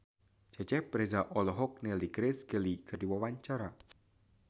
Cecep Reza olohok ningali Grace Kelly keur diwawancara